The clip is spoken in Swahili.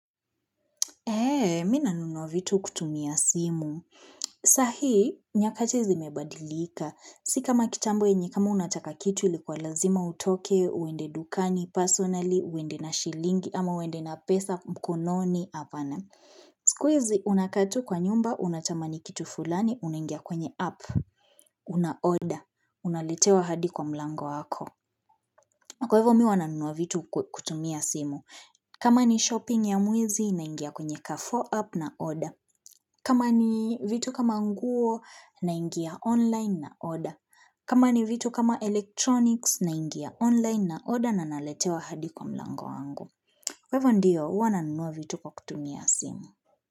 Eee, mi nanunuwa vitu kutumia simu. Sahii, nyakati zimebadilika. Si kama kitambo enye kama unataka kitu ilikuwa lazima utoke, uende dukani, personally, uende na shilingi, ama uende na pesa, mkononi, apana. Siku hizi, unakaa tu kwa nyumba, unatamani kitu fulani, unangia kwenye app, una order, unaletewa hadi kwa mlango wako. Kwa ivo, mi huwa nanunua vitu kutumia simu. Kama ni shopping ya mwezi naingia kwenye carrefour app naorder kama ni vitu kama nguo naingia online naorder kama ni vitu kama electronics naingia online naorder na naletewa hadi kwa mlango wangu Kwa hivo ndio, huwa nanunua vitu kwa kutumia simu.